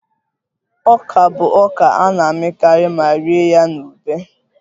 Ọka bụ ọka a na-amịkarị ma rie ya na ube